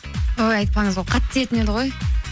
ой айтпаңыз ол қатты тиетін еді ғой